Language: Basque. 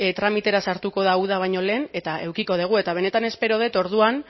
tramitera sartuko da uda baino lehen eta edukiko dugu eta benetan espero dut orduan